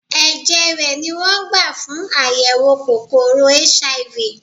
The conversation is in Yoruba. Ẹ̀jẹ̀ rè ni wón gbà fún àyẹ̀wò kòkòrò HIV.